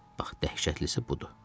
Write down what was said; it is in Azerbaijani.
Bax dəhşətlisi budur.